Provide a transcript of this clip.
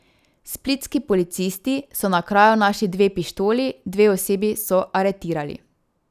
Splitski policisti so na kraju našli dve pištoli, dve osebi so aretirali.